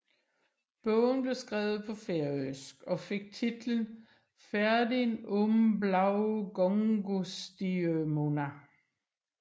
Bogen blev skrevet på færøsk og fik titlen Ferðin um bláu gongustjørnuna